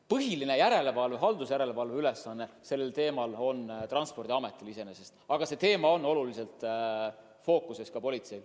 Põhiline sellekohane haldusjärelevalve ülesanne on iseenesest Transpordiametil, aga see teema on olulisena fookuses ka politseil.